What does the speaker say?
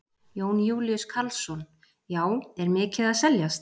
Jón Júlíus Karlsson: Já, er mikið að seljast?